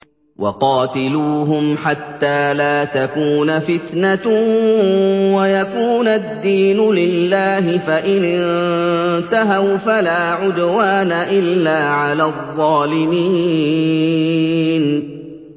وَقَاتِلُوهُمْ حَتَّىٰ لَا تَكُونَ فِتْنَةٌ وَيَكُونَ الدِّينُ لِلَّهِ ۖ فَإِنِ انتَهَوْا فَلَا عُدْوَانَ إِلَّا عَلَى الظَّالِمِينَ